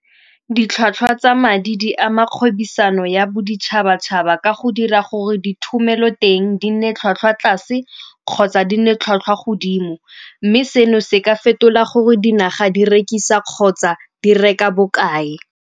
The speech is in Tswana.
Ditlhwatlhwa tsa madi di ama kgwebisano ya boditšhabatšhaba ka go dira gore ditumelo teng di nne tlhwatlhwa tlase kgotsa di nne tlhwatlhwa godimo, mme seno se ka fetola gore dinaga di rekisa kgotsa di reka bokae.